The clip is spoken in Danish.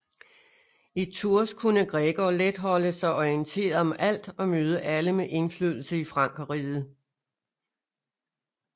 I Tours kunne Gregor let holde sig orienteret om alt og møde alle med indflydelse i Frankerriget